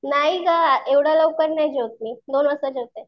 नाही ग एव्हड्या लवकर नाही जेवत मी, दोन वाजता जेवते.